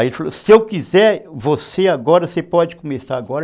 Aí ele falou, se eu quiser, você agora, você pode começar agora?